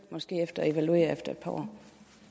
evaluerer efter et par år